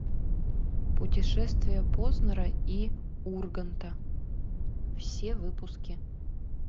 путешествия познера и урганта все выпуски